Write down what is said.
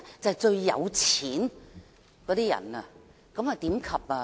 就是最有錢的人。